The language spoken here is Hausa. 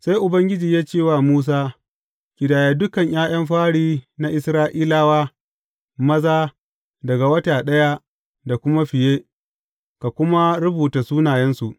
Sai Ubangiji ya ce wa Musa, Ƙidaya dukan ’ya’yan fari na Isra’ilawa maza daga wata ɗaya da kuma fiye ka kuma rubuta sunayensu.